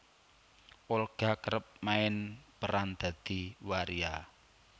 Olga kerep main peran dadi waria